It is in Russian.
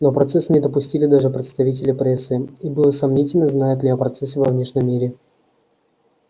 на процесс не допустили даже представителей прессы и было сомнительно знают ли о процессе во внешнем мире